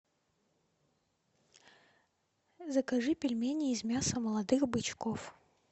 закажи пельмени из мяса молодых бычков